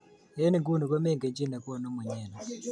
Eng inguni ko mengen chi ke nekonu mnyeni.